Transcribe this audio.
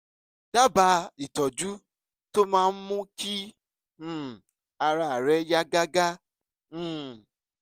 dábàá ìtọ́jú tó máa mú kí um ara rẹ̀ yá gágá um